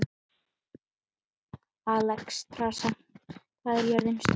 Alexstrasa, hvað er jörðin stór?